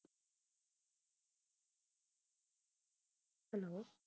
hello